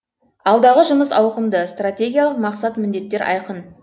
алдағы жұмыс ауқымды стратегиялық мақсат міндеттер айқын